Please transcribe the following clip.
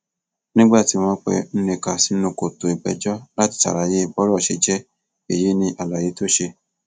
nígbà tí wọn pe nneka sínú kòtò ìgbẹjọ láti ṣàlàyé bọrọ ṣe jẹ èyí ní àlàyé tó ṣe